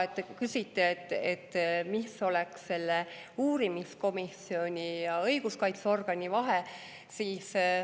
Te küsisite, mis oleks selle uurimiskomisjoni ja õiguskaitseorgani vahe.